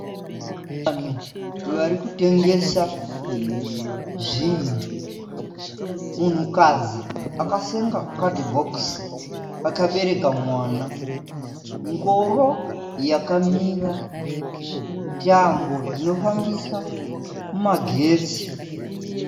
Vanhu varikutengesa zvinhu. Munhukadzi akasenga kadhibhokisi akabereka mwana. Ngoro yakamira. Tambo dzinofambisa magetsi.